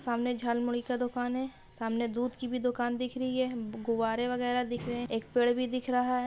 सामने झालमुरी का दुकान है सामने दूध की भी दुकान दिख रही है गुब्बारे वगैरा दिख रहे हैं एक पेड़ भी दिख रहा है।